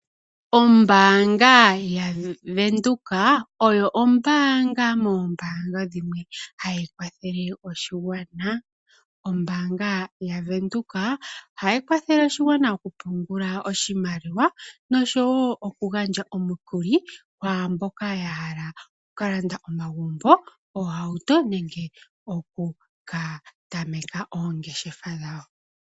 Ombaanga yaVenduka oyo ombaanga moombaanga dhimwe hayi kwathele oshigwana. Ombaanga yaVenduka ohayi kwathele oshigwana mokupungula oshimaliwa noshowo okugandja omukuli kwaa mboka ya hala oku ka landa omagumbo, oohauto nenge oku ka tameka oongeshefa dhawo.